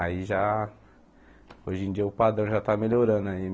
Aí já... Hoje em dia o padrão já está melhorando aí.